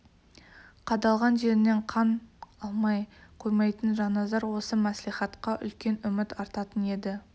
қадалған жерінен қан алмай қоймайтын жанназар осы мәслихатқа үлкен үміт артатын еді